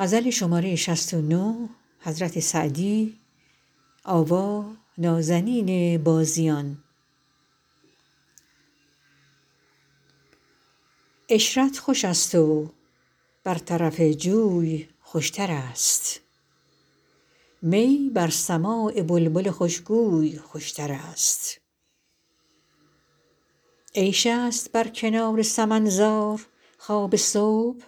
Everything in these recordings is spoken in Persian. عشرت خوش است و بر طرف جوی خوشترست می بر سماع بلبل خوشگوی خوشترست عیش است بر کنار سمن زار خواب صبح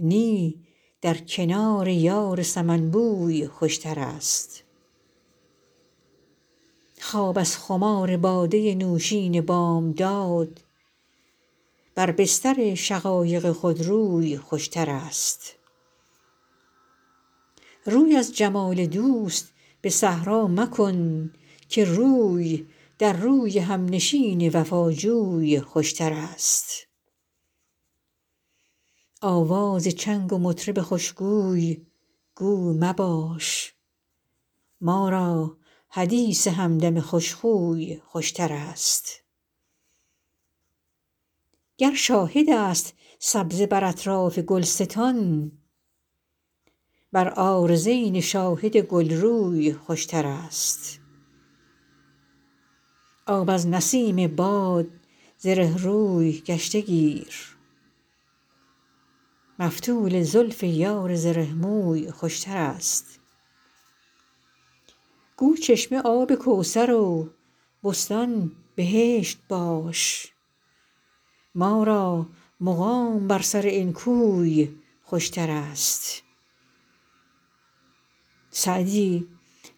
نی در کنار یار سمن بوی خوشترست خواب از خمار باده نوشین بامداد بر بستر شقایق خودروی خوشترست روی از جمال دوست به صحرا مکن که روی در روی همنشین وفاجوی خوشترست آواز چنگ مطرب خوشگوی گو مباش ما را حدیث همدم خوشخوی خوشترست گر شاهد است سبزه بر اطراف گلستان بر عارضین شاهد گلروی خوشترست آب از نسیم باد زره روی گشته گیر مفتول زلف یار زره موی خوشترست گو چشمه آب کوثر و بستان بهشت باش ما را مقام بر سر این کوی خوشترست سعدی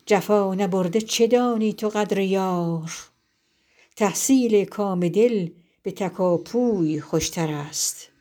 جفا نبرده چه دانی تو قدر یار تحصیل کام دل به تکاپوی خوشترست